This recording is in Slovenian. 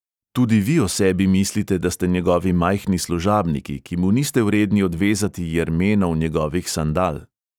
Tudi vi o sebi mislite, da ste njegovi majhni služabniki, ki mu niste vredni odvezati jermenov njegovih sandal.